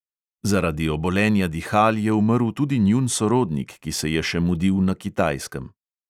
Zaradi obolenja dihal je umrl tudi njun sorodnik, ki se je še mudil na kitajskem.